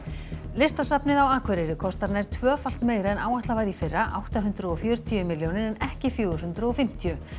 listasafnið á Akureyri kostar nær tvöfalt meira en áætlað var í fyrra átta hundruð og fjörutíu milljónir en ekki fjögur hundruð og fimmtíu